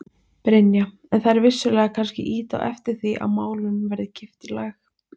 Brynja: En þær vissulega kannski ýta á eftir því að málunum verði kippt í lag?